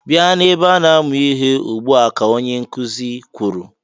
"Bịa na-ebe a na-amụ ihe ugbu a!", ka onye nkụzị kwuru.